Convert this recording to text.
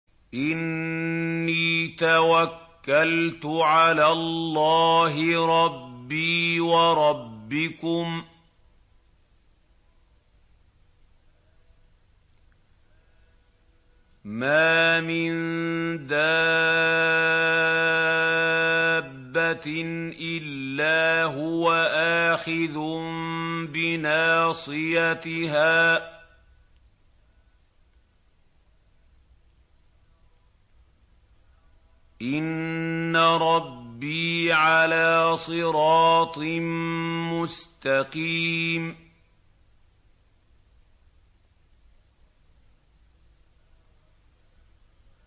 إِنِّي تَوَكَّلْتُ عَلَى اللَّهِ رَبِّي وَرَبِّكُم ۚ مَّا مِن دَابَّةٍ إِلَّا هُوَ آخِذٌ بِنَاصِيَتِهَا ۚ إِنَّ رَبِّي عَلَىٰ صِرَاطٍ مُّسْتَقِيمٍ